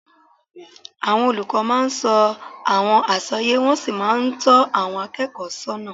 Àwọn olùkọ́ máa ń sọ àwọn àsọyé, wọ́n sì máa ń tọ́ àwọn akẹ́kọ̀ọ́ sọ́nà